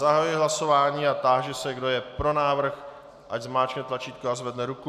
Zahajuji hlasování a táži se, kdo je pro návrh, ať zmáčkne tlačítko a zvedne ruku.